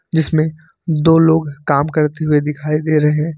जिसमें दो लोग काम करते हुए दिखाई दे रहे हैं।